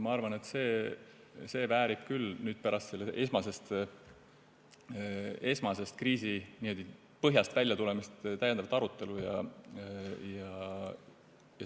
Ma arvan, et see väärib küll pärast esmasest kriisi põhjast väljatulemist täiendavat arutelu.